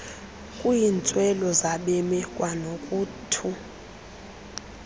kwiintswelo zabemi kwanokuthu